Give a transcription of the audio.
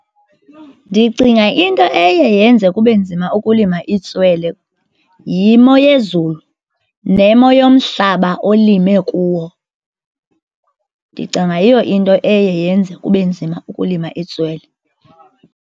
Ndicinga into eye yenze kube nzima ukulima itswele yimo yezulu nemo yomhlaba olime kuwo. Ndicinga yiyo into eye yenze kube nzima ukulima itswele.